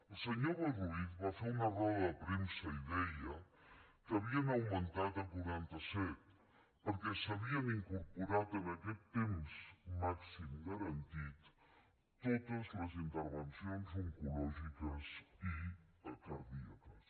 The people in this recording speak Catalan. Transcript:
el senyor boi ruiz va fer una roda de premsa i deia que havien augmentat a quaranta set perquè s’havien incorporat en aquest temps màxim garantit totes les intervencions oncològiques i cardíaques